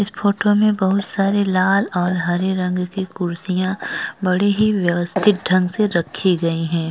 इस फोटो में बहुत सारे लाल और हरे रंग की कुर्सियां बड़ी ही व्यवस्थित ढंग से रखी गई हैं।